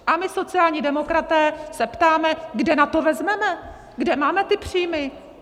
A my sociální demokraté se ptáme, kde na to vezmeme, kde máme ty příjmy.